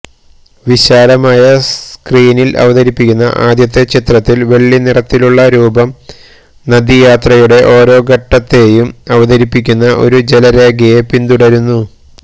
വിശാലമായ സ്ക്രീനിൽ അവതരിപ്പിക്കുന്ന ആദ്യത്തെ ചിത്രത്തിൽ വെള്ളിനിറത്തിലുള്ള രൂപം നദീയാത്രയുടെ ഓരോ ഘട്ടത്തെയും അവതരിപ്പിക്കുന്ന ഒരു ജലരേഖയെ പിന്തുടരുന്നു